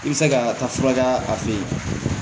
I bɛ se ka taa fura kɛ a fɛ yen